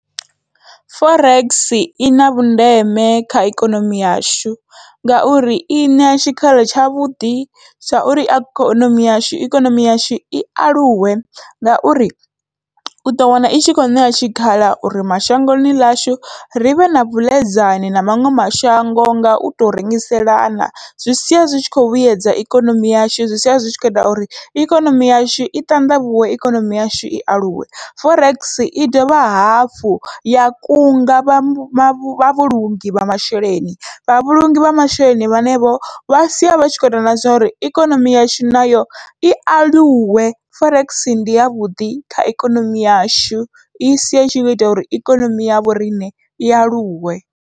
Forex ina vhundeme kha ikonomi yashu, ngauri iṋea tshikhala tshavhuḓi tsha uri ikonomi yashu ikonomi yashu i aluwe ngauri uḓo wana itshi kho ṋewa tshikhala uri mashangoni ḽashu rivhe na vhuḽedzani na maṅwe mashango ngau to rengiselana. Zwi sia zwi tshi kho vhuyedza ikonomi yashu zwi sia zwi tshi kho ita uri ikonomi yashu i ṱanḓavhuwe ikonomi yashu i aluwe, forex i dovha hafhu ya kunga vha vhulungi vha masheleni vha vhulungi vha masheleni vhane vho vha sia vha tshi kho ita na zwa uri ikonomi yashu nayo i aluwe, forex ndi yavhuḓi kha ikonomi yashu isia i tshi kho ita uri ikonomi ya vhoriṋe i aluwe.